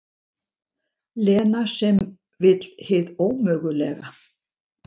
Lena sem vill hið ómögulega.